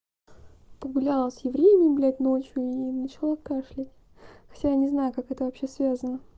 погуляла с евреями блядь ночью и начала кашлять хотя не знаю как это вообще связано